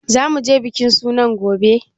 Za mu je bikin sunan gobe?